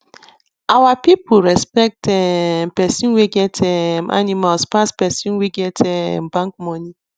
our people respect um person wey get um animals pass person wey get um bank money